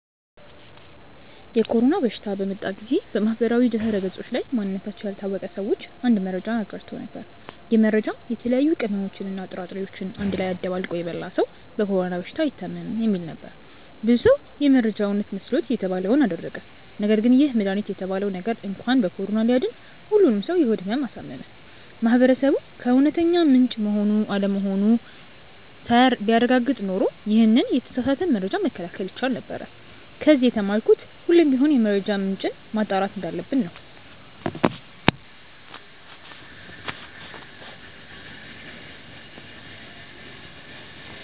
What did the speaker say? የኮሮና በሽታ በመጣ ጊዜ በማህበራዊ ድህረገጾች ላይ ማንነታቸው ያልታወቀ ሰዎች አንድ መረጃን አጋርተው ነበር። ይህ መረጃም የተለያዩ ቅመሞችን እና ጥራጥሬዎችን አንድ ላይ አደባልቆ የበላ ሰው በኮሮና በሽታ አይታምም የሚል ነበር። ብዙ ሰው ይህ መረጃ እውነት መስሎት የተባለውን አደረገ ነገርግን ይህ መድሃኒት የተባለው ነገር እንኳን ከኮሮና ሊያድን ሁሉንም ሰው የሆድ ህመም አሳመመ። ማህበረሰቡ ከእውነተኛ ምንጭ መሆን አለመሆኑን ቢያረጋግጥ ኖሮ ይሄንን የተሳሳተ መረጃ መከላከል ይቻል ነበር። ከዚ የተማርኩት ሁሌም ቢሆን የመረጃ ምንጭን ማጣራት እንዳለብን ነው።